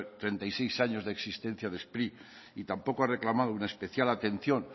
treinta y seis años de existencia de spri y tampoco ha reclamado una especial atención